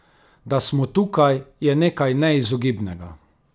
Da smo tukaj, je nekaj neizogibnega.